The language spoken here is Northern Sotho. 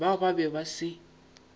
bao ba be ba se